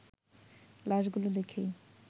লাশগুলো দেখেই